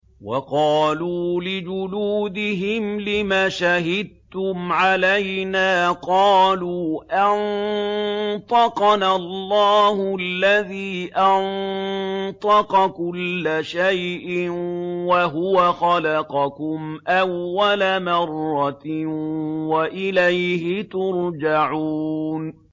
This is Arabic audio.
وَقَالُوا لِجُلُودِهِمْ لِمَ شَهِدتُّمْ عَلَيْنَا ۖ قَالُوا أَنطَقَنَا اللَّهُ الَّذِي أَنطَقَ كُلَّ شَيْءٍ وَهُوَ خَلَقَكُمْ أَوَّلَ مَرَّةٍ وَإِلَيْهِ تُرْجَعُونَ